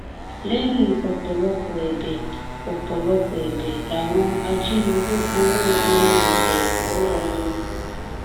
lẹyìn ọpọlọpọ ẹbẹ ọpọlọpọ ẹbẹ làwọn ajínigbé gbowó ọhún bẹẹ lọwọ wọn